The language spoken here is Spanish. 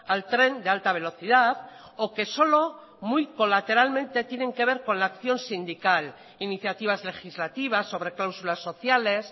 al tren de alta velocidad o que solo muy colateralmente tienen que ver con la acción sindical iniciativas legislativas sobre cláusulas sociales